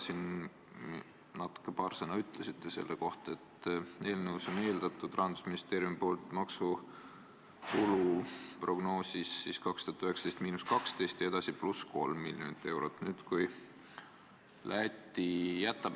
Siin sai paar sõna öeldud selle kohta, et Rahandusministeeriumi koostatud maksutulu prognoosis pakutakse 2019. aastaks –12 miljonit eurot ja igaks järgmiseks neljaks aastaks +3 miljonit eurot.